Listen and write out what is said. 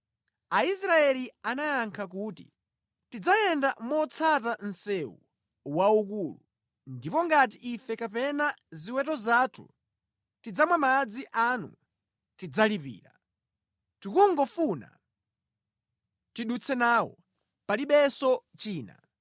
Aisraeli anayankha kuti, “Tidzayenda motsata msewu waukulu. Ndipo ngati ife kapena ziweto zathu tidzamwa madzi anu tidzalipira. Tikungofuna tidutse nawo, palibenso china.”